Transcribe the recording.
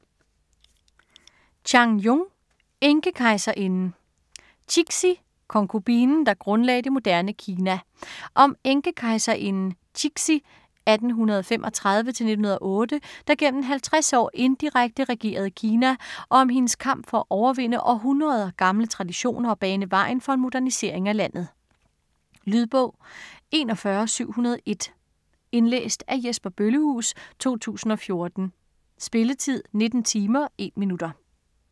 Chang, Jung: Enkekejserinden Cixi, konkubinen, der grundlagde det moderne Kina. Om enkekejserinden Cixi (1835-1908), der gennem 50 år indirekte regerede Kina, og om hendes kamp for at overvinde århundreder gamle traditioner og bane vejen for en modernisering af landet. Lydbog 41701 Indlæst af Jesper Bøllehuus, 2014. Spilletid: 19 timer, 1 minutter.